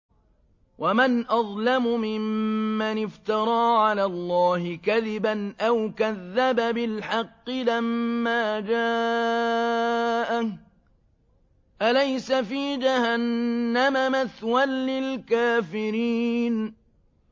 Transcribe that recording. وَمَنْ أَظْلَمُ مِمَّنِ افْتَرَىٰ عَلَى اللَّهِ كَذِبًا أَوْ كَذَّبَ بِالْحَقِّ لَمَّا جَاءَهُ ۚ أَلَيْسَ فِي جَهَنَّمَ مَثْوًى لِّلْكَافِرِينَ